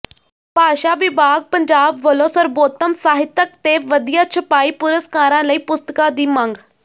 ਭਾਸ਼ਾ ਵਿਭਾਗ ਪੰਜਾਬ ਵਲੋਂ ਸਰਬੋਤਮ ਸਾਹਿਤਕ ਤੇ ਵਧੀਆ ਛਪਾਈ ਪੁਰਸਕਾਰਾਂ ਲਈ ਪੁਸਤਕਾਂ ਦੀ ਮੰਗ